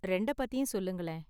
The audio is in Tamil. ரெண்டப் பத்தியும் சொல்லுங்களேன்